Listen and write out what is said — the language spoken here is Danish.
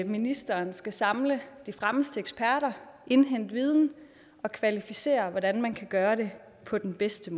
ministeren skal samle de fremmeste eksperter indhente viden og kvalificere hvordan man kan gøre det på den bedste